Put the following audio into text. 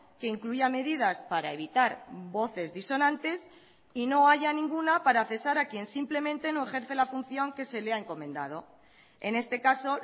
que incluya medidas para evitar voces disonantes y no haya ninguna para cesar a quien simplemente no ejerce la función que se le ha encomendado en este caso